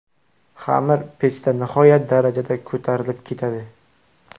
Xamir pechda nihoyat darajada ko‘tarilib ketadi.